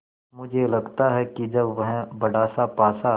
मुझे लगता है कि जब वह बड़ासा पासा